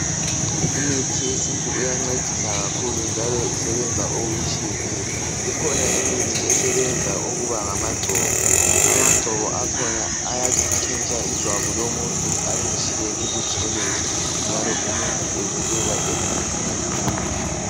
Imithi yesintu iyancedisa kakhulu njalo isebenza okutshiyeneyo .Ikhona imithi esebenza ukuba ngamagcobo .Amagcobo akhona ayantshintsha ijwabu lomuntu alitshiye libutshelezi njalo umuntu ebukeka emihle kakhulu.